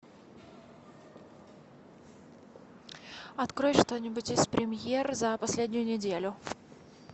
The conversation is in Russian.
открой что нибудь из премьер за последнюю неделю